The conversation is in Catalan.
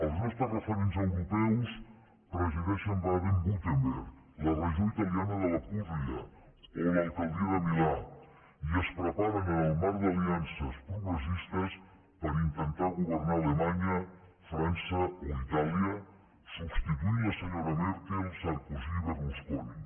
els nostres referents europeus presideixen baden württemberg la regió italiana de la pulla o l’alcaldia de milà i es preparen en el marc d’aliances progressistes per intentar governar alemanya frança o itàlia substituint la senyora merkel sarkozy i berlusconi